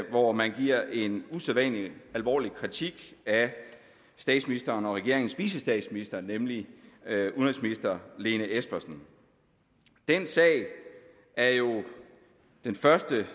hvor man giver en usædvanlig alvorlig kritik af statsministeren og regeringens vicestatsminister nemlig udenrigsminister lene espersen den sag er jo den første